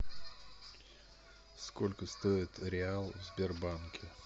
сколько стоит реал в сбербанке